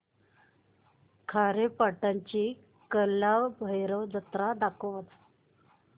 खारेपाटण ची कालभैरव जत्रा दाखवच